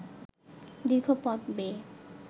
দীর্ঘ পথ বেয়ে